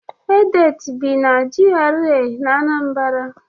Edet bi na GRA na Anambra.